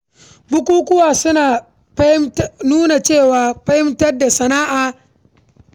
Bukukuwa suna taimakawa wajen nuna hikima da fasahar al’umma a bainar jama’a.